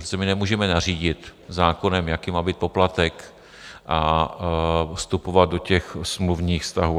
Prostě my nemůžeme nařídit zákonem, jaký má být poplatek, a vstupovat do těch smluvních vztahů.